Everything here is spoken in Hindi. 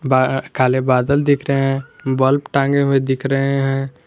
बाआआ काले बादल दिख रहे हैं बल्ब टांगे हुए दिख रहे हैं।